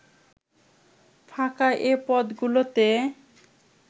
ফাঁকা এ পদগুলোতে